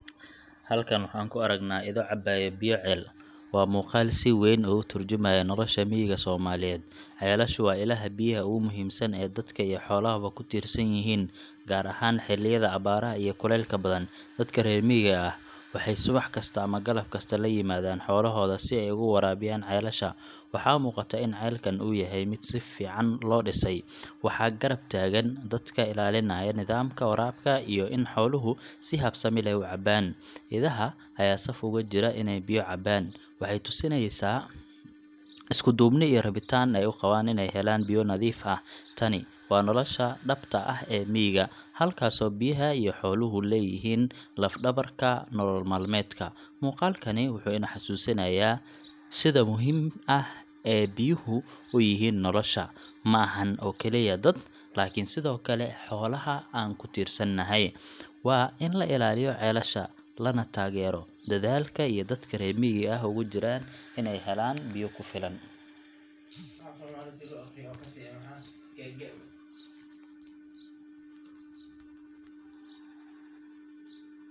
Halkan waxaan ku aragnaa ido cabaya biyo ceel. Waa muuqaal si weyn uga tarjumaya nolosha miyiga Soomaaliyeed. Ceelashu waa ilaha biyaha ugu muhiimsan ee dadka iyo xoolahaba ku tiirsan yihiin, gaar ahaan xilliyada abaaraha iyo kuleylka badan. Dadka reer miyiga ah waxay subax kasta ama galab kasta la yimaadaan xoolahooda si ay uga waraabiyaan ceelasha. Waxaa muuqata in ceelkan uu yahay mid si fiican loo dhisay, waxaa garab taagan dadka ilaalinaya nidaamka waraabka iyo in xooluhu si habsami leh u cabaan. Idaha ayaa saf ugu jira inay biyo cabaan, waxayna tusinaysaa isku duubni iyo rabitaan ay u qabaan inay helaan biyo nadiif ah. Tani waa nolosha dhabta ah ee miyiga, halkaasoo biyaha iyo xooluhu yihiin laf-dhabarka nolol maalmeedka. Muuqaalkani wuxuu ina xasuusinayaa sida muhiimka ah ee biyuhu u yihiin nolosha ma ahan oo keliya dad, laakiin sidoo kale xoolaha aan ku tiirsannahay. Waa in la ilaaliyo ceelasha, lana taageero dadaalka ay dadka reer miyiga ahi ugu jiraan inay helaan biyo ku filan.